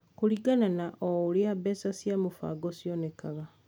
kũringana na o ũrĩa mbeca cia mũbango cionekaga.